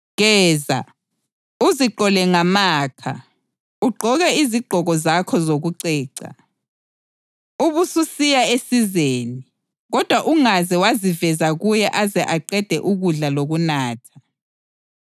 Geza, uziqhole ngamakha, ugqoke izigqoko zakho zokuceca. Ubususiya esizeni, kodwa ungaze waziveza kuye aze aqede ukudla lokunatha.